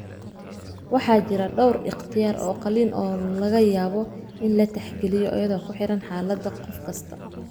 Waxa jira dhawr ikhtiyaar oo qalliin oo laga yaabo in la tixgeliyo iyadoo ku xidhan xaaladda qof kasta.